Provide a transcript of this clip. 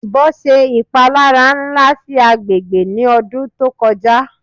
Ibon ṣe ipalara nla si agbegbe ni ọdun to koja